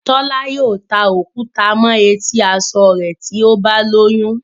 Tola yóò tá òkúta mọ eti aṣọ rẹ tí o bá lóyún.